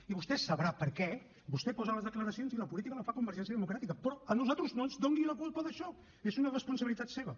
i vostè sabrà per què vostè posa les declaracions i la política la fa convergència democràtica però a nosaltres no ens doni la culpa d’això és una responsabilitat seva